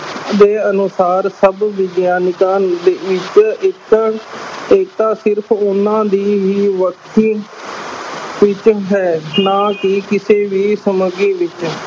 ਦੇ ਅਨੁਸਾਰ ਸਭ ਵਿਗਿਆਨਕਾਂ ਦੇ ਵਿੱਚ ਇੱਕ ਏਕਤਾ ਸਿਰਫ਼ ਉਹਨਾਂ ਦੀ ਹੀ ਵਿੱਚ ਹੈ ਨਾ ਕਿ ਕਿਸੇ ਵੀ ਵਿੱਚ।